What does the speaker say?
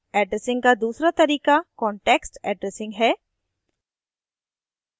addressing का दूसरा तरीका context addressing है